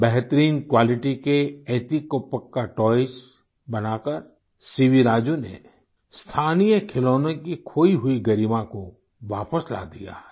बेहतरीन क्वालिटी के एतिकोप्पका टॉयज़ बनाकर सीवी राजू ने स्थानीय खिलौनों की खोई हुई गरिमा को वापस ला दिया है